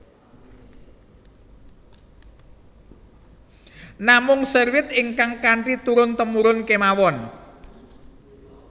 Namung seruit ingkang kanthi turun temurun kemawon